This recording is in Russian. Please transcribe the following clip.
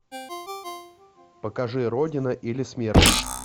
покажи родина или смерть